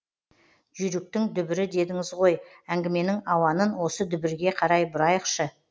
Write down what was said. жүйріктің дүбірі дедіңіз ғой әңгіменің ауанын осы дүбірге қарай бұрайықшы